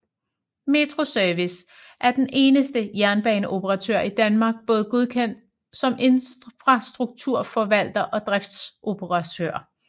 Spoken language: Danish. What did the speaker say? Metro Service er som den eneste jernbaneoperatør i Danmark både godkendt som infrastrukturforvalter og driftsoperatør